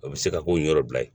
O bɛ se ka ko in yɔrɔ bila ye